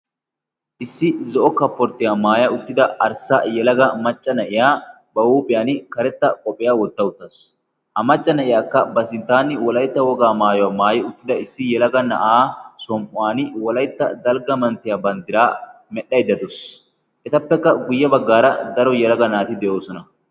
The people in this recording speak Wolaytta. issi zo'o kapporttiyaa maaya uttida arssa yalaga macca na'iyaa ba huuphiyan karetta qophiyaa wotta uttaasu a macca na'iyaakka ba sinttaani wolaitta wogaa maayuwaa maayi uttida issi yalaga na'aa sam''uwan wolaytta dalgga manttiyaa banddiraa medhdhaydda dawus etappekka guyye baggaara daro yalaga naati de'oosona